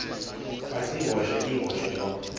kwacihoshe ihoshe lo